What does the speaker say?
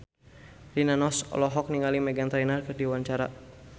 Rina Nose olohok ningali Meghan Trainor keur diwawancara